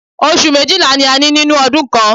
Oṣù méjìlá ni a ní nínú ọdún kan.